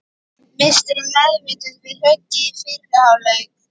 Misstir þú meðvitund við höggið í fyrri hálfleik?